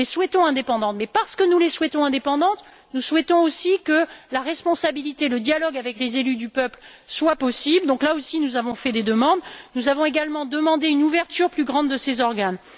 Nous les souhaitons indépendantes, mais parce que nous les souhaitons indépendantes, nous souhaitons aussi que la responsabilité et le dialogue avec les élus du peuple soient possibles. À ce niveau, nous avons aussi fait des demandes. Nous avons également demandé une ouverture plus grande de ces organes.